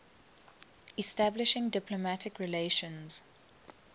establishing diplomatic relations